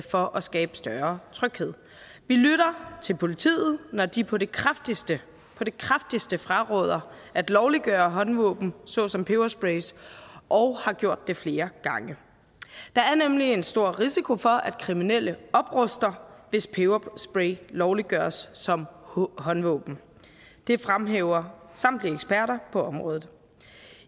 for at skabe større tryghed vi lytter til politiet når de på det kraftigste på det kraftigste fraråder at lovliggøre håndvåben såsom peberspray og har gjort det flere gange der er nemlig en stor risiko for at kriminelle opruster hvis peberspray lovliggøres som håndvåben det fremhæver samtlige eksperter på området